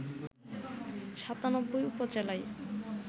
৯৭ উপজেলায়